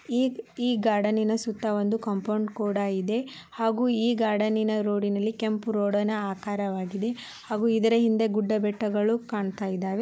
ಈ ಈ ಗಾರ್ಡನಿ ನ ಸುತ್ತ ಒಂದು ಕಾಂಪೌಂಡ್ ಕೂಡ ಇದೆ ಹಾಗೂ ಈ ಗಾರ್ಡನಿ ನ ರೋಡಿ ನ ಕೆಂಪು ರೋಡಿ ನ ಆಕಾರವಾಗಿದೆ ಹಾಗೂ ಇದರ ಹಿಂದೆ ಗುಡ್ಡ ಬೆಟ್ಟಗಳು ಕಾಣ್ತಾ ಇದ್ದಾವೆ.